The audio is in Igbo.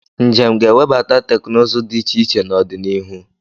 Njem ga-ewebata teknụzụ dị iche iche n'ọdịnihu.